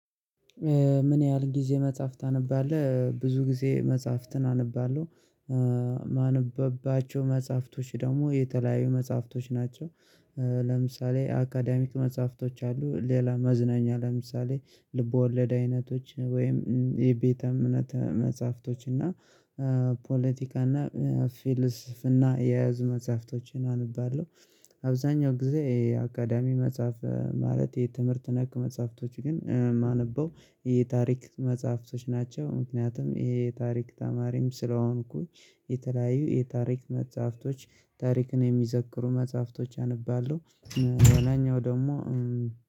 ምን? ያህል ጊዜ መጽሐፍ ታነባለህ ብዙ ጊዜ መጽሐፍትን አነባለሁ ማነብባቸው መጽሐፍቶች ደግሞ የተለያዩ መጽሐፍቶች ናቸው። ለምሳሌ አካዳሚክ መጽሐፍቶች አሉ ሌላ መዝናኛ ለምሳሌ ልቦለድ አይነቶች ወይም የቤተ እምነት መጽሐፍቶች እና ፖለቲካ እና ፊልስፍና የያዙ መጽሐፍቶችን አንባለው። አብዛኛው ጊዜ የአካዳሚ መጽሐፍ ማለት የትምህርት ነክ መጽሐፍቶች ግን የማነበው የታሪክ መጽሐፍቶች ናቸው ምክንያቱም ይሄ የታሪክ ተማሪም ስለሆንኩኝ የተለያዩ የታሪክ መጽሐፍቶች ታሪክን የሚዘክሩ መጽሐፍቶች አንብባለሁ። ለላኛው ደግሞ